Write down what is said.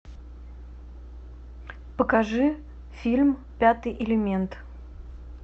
покажи фильм пятый элемент